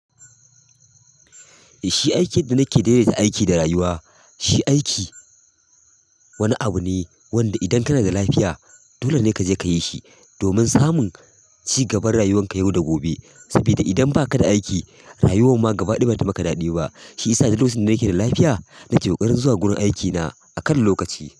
Shi aikin da nake daidaita aiki da rayuwa, shi aiki wani abu ne wanda idan kana da lafiya dole ne ka je ka yi shi domin samun cigaban rayuwanka yau da gobe. Saboda idan ba ka da aiki rayuwan ma gabaɗaya ba zata maka daɗi ba. Shiyasa duk lokacin da nake da lafiya nake ƙoƙarin zuwa wurin aikina a kan lokaci.